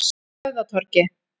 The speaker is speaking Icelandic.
Höfðatorgi